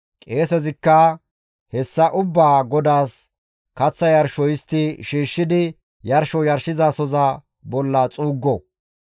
qeesezikka hessa ubbaa GODAAS kaththa yarsho histti shiishshidi yarsho yarshizasoza bolla xuuggo.